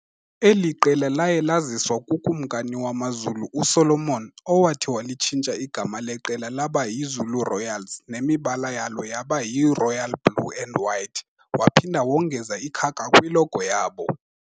Eli qela laye laziswa kukumkani wamaZulu uSolomon, owathi walitshintsha igama leqela laba yiZulu Royals nemibala yalo yaba yiRoyal blue and white, waphinda wongeza ikhaka kwilogo yabo.